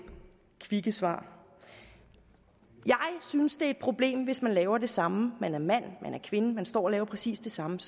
kvikke svar jeg synes det er et problem hvis man laver det samme og man er mand man er kvinde og står og laver præcis det samme